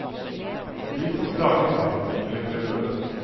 De som klager, vil bli belønnet.